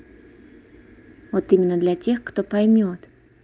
вот именно для тех кто поймёт